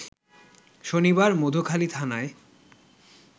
শনিবার মধুখালীথানায়